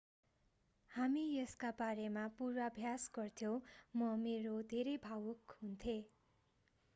हामी यसका बारेमा पूर्वाभ्यास गर्थ्यौँ म मेरो धेरै भावुक हुन्थेँ